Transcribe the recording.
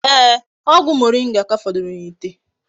Ee, ogwu moringa ka foduru n'ite